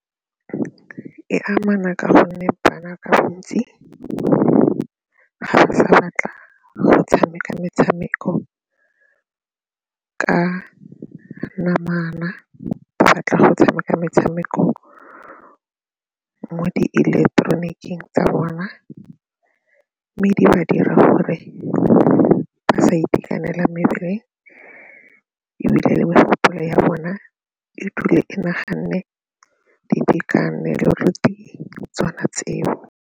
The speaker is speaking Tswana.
E amana ka gonne bana ka bontsi ba sena maatla a go tshameka metshameko ka namana, ba batla go tshameka metshameko mo di ileketeroniking tsa bona mme di ba dira gore ba sa itekanela mebele ebile le ya bone e dule e naganne le tsona tseo.